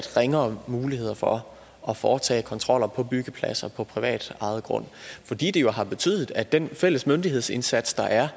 ringere muligheder for at foretage kontroller på byggepladser på privatejet grund fordi det jo har betydet at den fælles myndighedsindsats der er